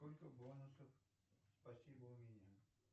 сколько бонусов спасибо у меня